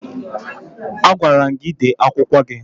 Agwara m gị dee akwụkwọ gị!